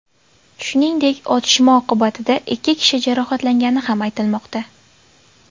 Shuningdek, otishma oqibatida ikki kishi jarohatlangani ham aytilmoqda.